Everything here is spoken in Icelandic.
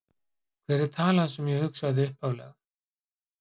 Hver er talan sem ég hugsaði upphaflega?